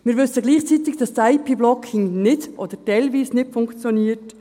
Wir wissen gleichzeitig, dass das IP-Blocking nicht oder teilweise nicht funktioniert.